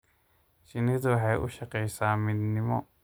Shinnidu waxay u shaqaysaa midnimo.